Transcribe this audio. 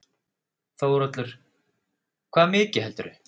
Þórhallur: Hvað mikið heldurðu?